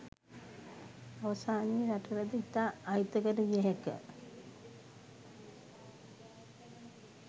අවසානයේ රටටද ඉතා අහිතකර විය හැක